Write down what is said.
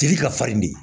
Tigi ka farin de